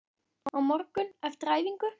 Á morgun, eftir æfingu?